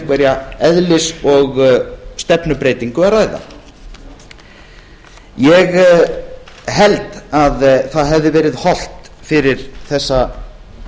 einhverja eðlis og stefnubreytingu að ræða ég held að það hefði verið hollt fyrir þessa